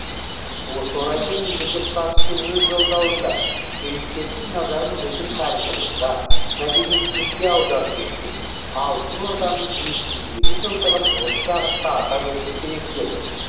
осы орайда мемлекет басшысы өз жолдауында туристердің назарын біздің тарихымызға мәдениетімізге аударту үшін алтын орданың жеті жүз елу жылдығын осы бағытта атап өту керек деді